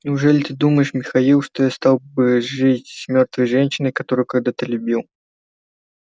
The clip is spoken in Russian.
неужели ты думаешь михаил что я стал бы жить с мёртвой женщиной которую когда-то любил